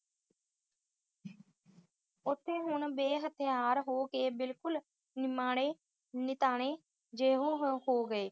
ਉਥੇ ਹੁਣ ਬੇ-ਹਥਿਆਰ ਹੋ ਕੇ ਬਿਲਕੁਲ ਨਿਮਾਣੇ ਨਿਤਾਣੇ ਜਿਹੇ ਹੋ ਗਏ।